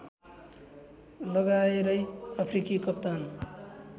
लगाएरै अफ्रिकी कप्तान